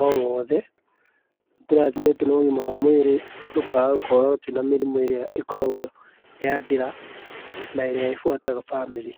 o wothe, nĩ tũrathimĩtwo na ũgima wa mwĩrĩ tũkaga gũkorwo twĩna mĩrimũ ĩrĩa ĩkoragwo ya ndĩra na ĩrĩa ĩ buataga bamĩrĩ.